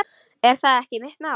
Er það ekki mitt mál?